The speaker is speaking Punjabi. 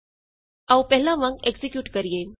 ਆਉ ਪਹਿਲਾਂ ਵਾਂਗ ਐਕਜ਼ੀਕਿਯੂਟ ਕਰੀਏ